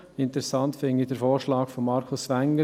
Interessant finde ich den Vorschlag von Markus Wenger: